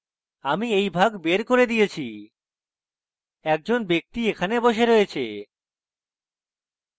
আমি we ভাগ there করে দিয়েছি একজন ব্যক্তি এখানে বসে রয়েছে